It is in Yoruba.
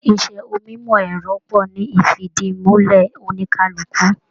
Iṣẹ onimọ ẹrọ pọ ní ifidimulẹ oníkálukú.